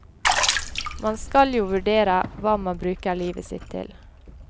Man skal jo vurdere hva man bruker livet sitt til.